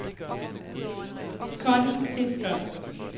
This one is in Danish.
Conny Fisker